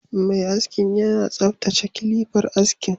Mai askin yana tsaftace kilifar askin